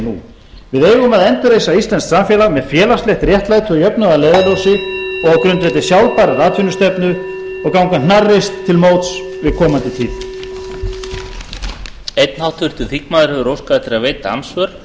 nú við eigum að endurreisa íslenskt samfélag með félagslegt réttlæti og jöfnuð að leiðarljósi og á grundvelli sjálfbærrar atvinnustefnu og ganga hnarreist til móts við komandi tíð